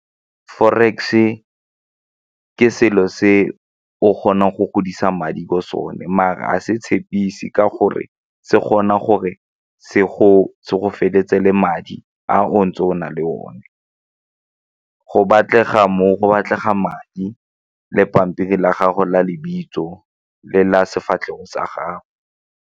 Forex ke selo se o kgonang go godisa madi bo sone mara a se tshepise ka gore se kgona gore se go feleletse le madi a o ntse o na le one go batlega madi le pampiri la gago la lebitso le la sefatlhego sa gago.